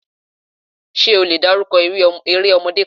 Ṣé o lè dárúkọ eré ọmọdé kan?